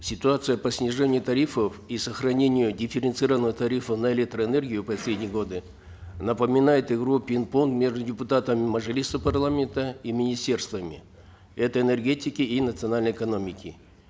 ситуация по снижению тарифов и сохранению дифференцированного тарифа на электроэнергию в последние годы напоминает игру в пинг понг между депутатами мажилиса парламента и министерствами это энергетики и национальной экономики